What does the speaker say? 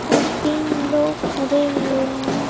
और तीन लोग खड़े हुए हैं।